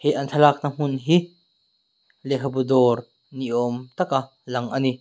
thlalak na hmun hi lehkha bu dawr ni awm taka lang a ni.